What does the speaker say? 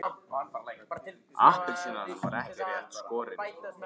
Hann fór út, hljóðlega eins og köttur.